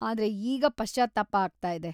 ಆದ್ರೆ, ಈಗ ಪಶ್ಚಾತ್ತಾಪ ಆಗ್ತಾಯಿದೆ.